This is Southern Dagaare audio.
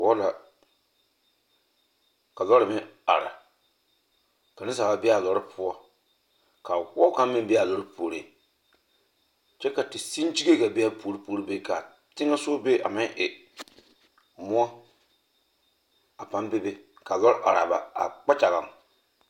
Wɔɔ la ka lɔre meŋ are ka nensaaleba be a lɔre poɔ ka a wɔɔ kaŋ meŋ be a lɔre puoriŋ kyɛ ka teseŋkyiŋe ɡaa be a lɔɔr puori be ka a teŋɛ soɡa be a meŋ e moɔ a pãã ka lɔɔre are a kpakyaɡa.